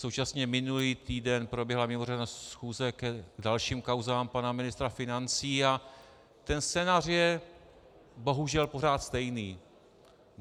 Současně minulý týden proběhla mimořádná schůze k dalším kauzám pana ministra financí a ten scénář je bohužel pořád stejný.